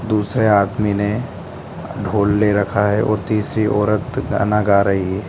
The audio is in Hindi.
दूसरे आदमी ने ढोल ले रखा है और तीसरी औरत गाना गा रही --